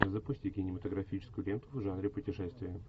запусти кинематографическую ленту в жанре путешествия